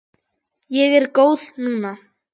Ég er góð núna.